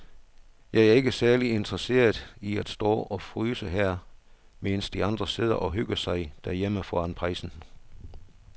Jeg er ikke særlig interesseret i at stå og fryse her, mens de andre sidder og hygger sig derhjemme foran pejsen.